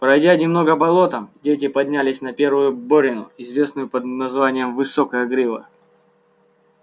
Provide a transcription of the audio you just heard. пройдя немного болотом дети поднялись на первую борину известную под названием высокая грива